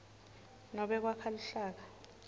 nobe kwakha luhlaka